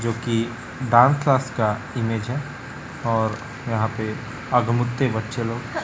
जोकि dance class का image है और यहां पे अगमुत्ते बच्चे लोग--